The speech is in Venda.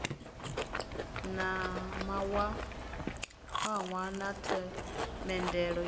na mawanwa na themendelo yo